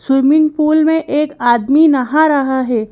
Swimming pool में एक आदमी नहा रहा है।